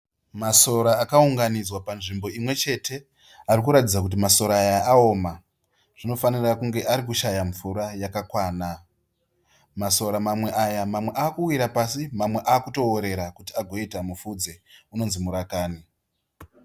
Masora akaunganidzwa panzvimbo imwe chete. Ari kuratidza kuti masora ayo aoma. Zvinofanira kunge ari kushaya mvura yakakwana. Masora mamwe aya mamwe ava kuwira pasi mamwe ava kutoworera kuti agoita mupfudze unonzi murakani.